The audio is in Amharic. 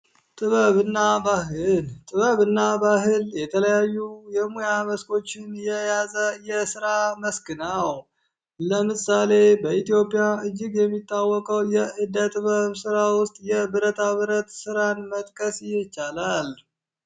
ጥበብ ና ባህል ጥበብ እና ባህል የተለያዩ የሙያ መስኮችን የያዘ የሥራ መስክ ነው። ለምሳሌ በኢትዮጵያ እጅግ የሚታወቀው የእደጥበብ ሥራ ውስጥ የብረታብረት ሥራን መጥቀስ ይቻላል።